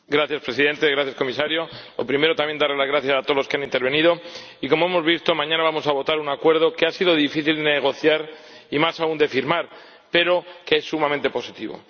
Señor Presidente gracias, Comisario en primer lugar, también, darles las gracias a todos los que han intervenido y, como hemos visto, mañana vamos a votar un acuerdo que ha sido difícil de negociar y más aún de firmar, pero que es sumamente positivo.